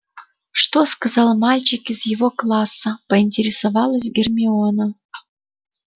что сказал мальчик из его класса поинтересовалась гермиона